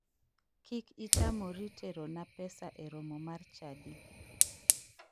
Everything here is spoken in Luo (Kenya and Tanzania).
Kik itamori terona pesa e romo mar chadi.